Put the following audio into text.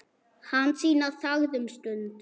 Hansína þagði um stund.